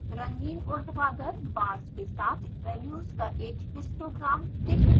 रंगीन उर्ध्वाधर बार्स के साथ वैल्यूज़ का एक हिस्टोग्राम दिखेगा